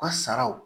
U ka saraw